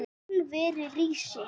Álverið rísi!